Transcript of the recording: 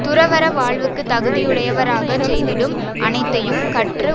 துறவற வாழ்வுக்குத் தகுதியுடையவராகச் செய்திடும் அனைத்தையும் கற்று